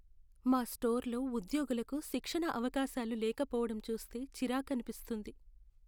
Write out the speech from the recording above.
మా స్టోర్లో ఉద్యోగులకు శిక్షణ అవకాశాలు లేకపోవడం చూస్తే చిరాకనిపిస్తుంది.